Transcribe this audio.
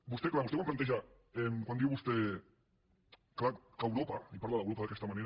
vostè clar vostè quan planteja quan diu vostè que europa i parla d’europa d’aquesta manera